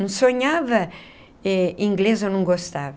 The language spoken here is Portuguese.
Não sonhava em inglês, eu não gostava.